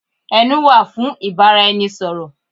Ẹnu wà fún ìbáraẹnisọ̀rọ̀.